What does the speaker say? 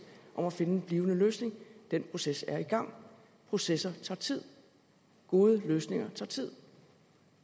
om at finde en blivende løsning den proces er i gang processer tager tid gode løsninger tager tid